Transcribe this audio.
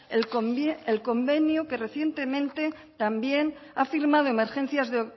el convenio que recientemente también ha firmado emergencias de